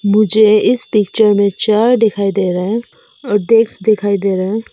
मुझे इस पिक्चर में चेयर दिखाई दे रहा है और डेस्क दिखाई दे रहा है।